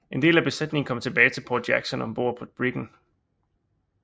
En del af besætningen kom tilbage til Port Jackson ombord på briggen